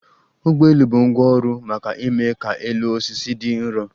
ụgbọelu bụ ngwá ọrụ maka ime ka elu osisi dị nrọ